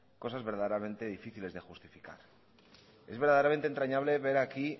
cosas verdaderamente difíciles de justificar es verdaderamente entrañable ver aquí